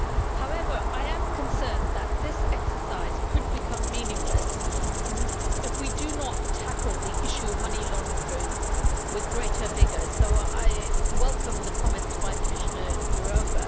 However, I am concerned that this exercise could become meaningless if we do not tackle the issue of money laundering with greater vigour, so I welcome the comments by Commissioner Jourová.